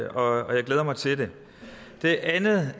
og jeg glæder mig til det det andet